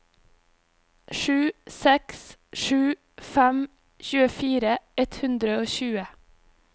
sju seks sju fem tjuefire ett hundre og tjue